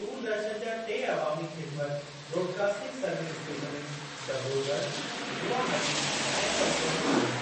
दूरदर्शन जा टे अवामी ख़िदिमत ब्रॉडकास्टिंग सर्विस स्टेशनूं डबरो ॻढ़, गुवहाटी ऐं सलचर में आहिनि।